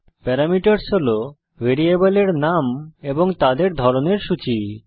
parameters হল ভ্যারিয়েবলের নাম এবং তাদের ধরনের সূচী